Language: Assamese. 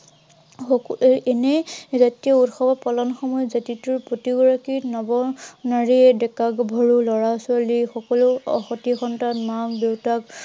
এৰ এনেই জাতীয় উৎসৱ পালন কৰি জাতিটোৰ প্ৰতিটো নৰ নাৰীয়ে, ডেকা-গাভৰু, লৰা-ছোৱালী সকলো সতি সন্তান